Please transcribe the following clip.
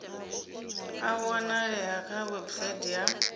a wanalea kha website ya